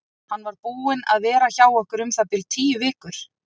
Hann var búinn að vera hjá okkur um það bil tíu vikur.